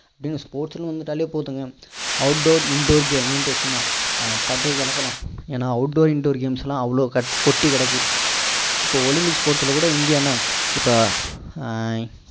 sports னு வந்துட்டாலே போதுங்க outdoor indoor ன்டு சும்மா பட்டைய கிளப்பலாம் ஏன்னா outdoor indoor games லாம் அவ்வளோ கொட்டிக்கிடக்கு இப்போ ஒலிம்பிக் sports ல கூட இந்தியா என்ன